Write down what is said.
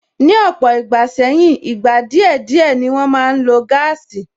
Ni ọ̀pọ̀ ìgbà sẹ́yìn, ìgbà díẹ̀ díẹ̀ ni wọn máa ń lo gáàsì